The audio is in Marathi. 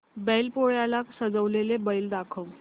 बैल पोळ्याला सजवलेला बैल दाखव